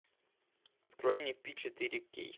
открой мне пи четыре кей